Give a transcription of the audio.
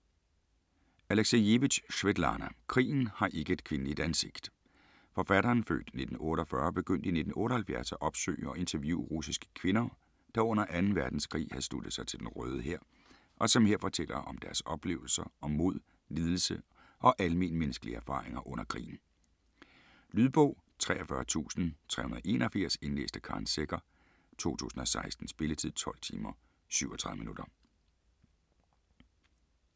Aleksijevitj, Svetlana: Krigen har ikke et kvindeligt ansigt Forfatteren (f. 1948) begyndte i 1978 at opsøge og interviewe russiske kvinder, der under 2. verdenskrig havde sluttet sig til Den Røde Hær, og som her fortæller om deres oplevelser, om mod, lidelse og almenmennneskelige erfaringer under krigen. Lydbog 43381 Indlæst af Karen Secher, 2016. Spilletid: 12 timer, 37 minutter.